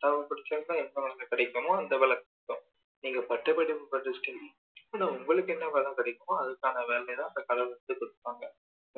என்னா படிச்சாக்கா என்ன வேலை கிடைக்குமோ அந்த வேலை கிடைக்கும் நீங்க பட்ட படிப்பு படிச்சிட்டு இதுல உங்களுக்கு என்ன வேலை கிடைக்குமோ அதுக்கான வேலைய தான் அந்த கடவுள் வந்து கொடுப்பாங்க